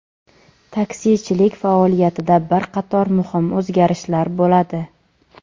Taksichilik faoliyatida bir qator muhim o‘zgarishlar bo‘ladi.